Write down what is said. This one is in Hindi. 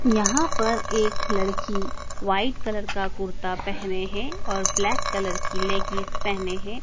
यहाँ पर एक लड़की व्हाइट कलर का कुर्ता पहने है और ब्लैक कलर की लेग्गी पहने है।